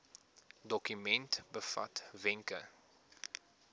dokument bevat wenke